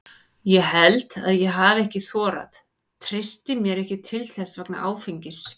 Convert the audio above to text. Ég held að ég hafi ekki þorað, treysti mér ekki til þess vegna áfengis.